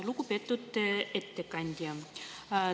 Lugupeetud ettekandja!